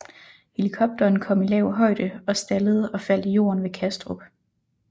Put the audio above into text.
Helikopteren kom i lav højde og stallede og faldt i jorden ved Kastrup